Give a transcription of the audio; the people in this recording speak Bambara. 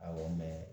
Awɔ